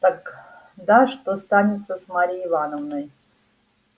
так да что станется с марьей ивановной